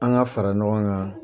An ka fara ɲɔgɔn kan